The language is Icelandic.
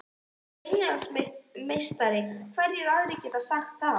Ég var Englandsmeistari, hverjir aðrir geta sagt það?